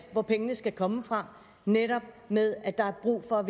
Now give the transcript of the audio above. hvor pengene skal komme fra nemlig med at der er brug for at